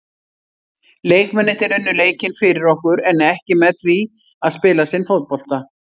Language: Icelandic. Leikmennirnir unnu leikinn fyrir okkur en ekki með því að spila sinn fótbolta.